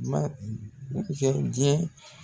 Ma kɛ diɲɛ